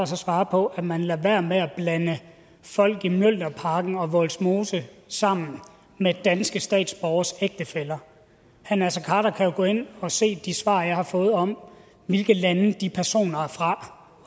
så svare på at man lader være med at blande folk i mjølnerparken og vollsmose sammen med danske statsborgeres ægtefæller herre naser khader kan jo gå ind og se de svar jeg har fået om hvilke lande de personer er fra